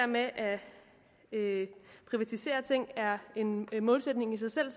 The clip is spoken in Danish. med at privatisere ting er en målsætning i sig selv